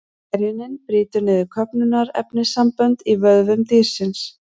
Gerjunin brýtur niður köfnunarefnissambönd í vöðvum dýrsins.